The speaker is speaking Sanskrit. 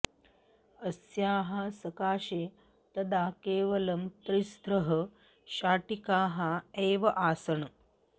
अस्याः सकाशे तदा केवलं तिस्त्रः शाटिकाः एव आसन्